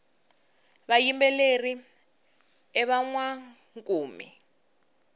vayimbeleri i vanwankumi